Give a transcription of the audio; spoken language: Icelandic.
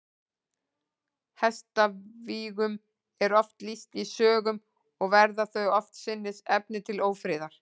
Hestavígum er oft lýst í sögum, og verða þau oftsinnis efni til ófriðar.